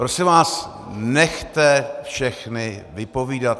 Prosím vás, nechte všechny vypovídat.